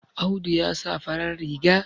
Audu ya sa farar riga